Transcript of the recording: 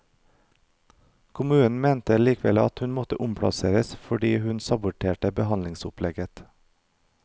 Kommunen mente likevel at hun måtte omplasseres fordi hun saboterte behandlingsopplegget.